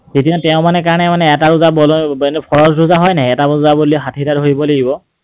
তেতিয়া, তেওঁৰ মানে কাৰণে এটা দুটা ৰোজা হয় নাই, এটা ৰোজা বুলি ষাঠিটা ৰোজা ধৰিব লাগিব।